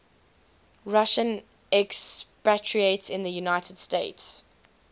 russian expatriates in the united states